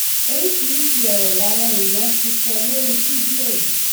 oríṣiríṣiì ọrọ làwọn èèyàn ti sọ lórí fídíò yìí